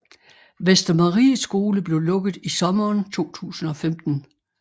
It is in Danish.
Vestermarie Skole blev lukket i sommeren 2015